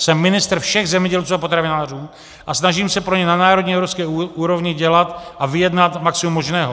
Jsem ministr všech zemědělců a potravinářů a snažím se pro ně na národní evropské úrovni dělat a vyjednat maximum možného.